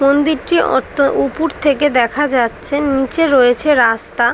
মন্দিরটি অঁতো উপুড় থেকে দেখা যাচ্ছে নীচে রয়েছে রাস্তা।